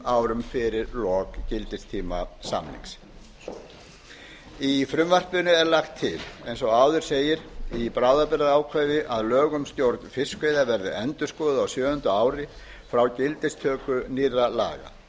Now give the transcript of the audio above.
árum fyrir lok gildistíma samnings í frumvarpinu er lagt til eins og áður segir í bráðabirgðaákvæði að lög um stjórn fiskveiða verði endurskoðuð á sjöunda ári frá gildistöku nýrra laga